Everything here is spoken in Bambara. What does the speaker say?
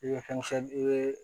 I bɛ fɛn i bɛ